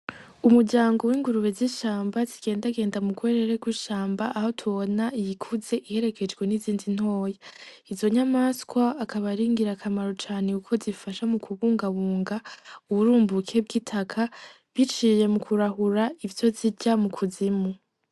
Umuryango w'ingurube zishamba zigendagenda mugwerere gw'ishamba aho tubona iyikuze iherekejwe n'izindi ntoya. Izo nyamaswa akaba aringirakamaro cane kuko zifasha mukubungabunga uburumbuke bw'itaka biciye mukurahura ivyo ryiza mukuzimu.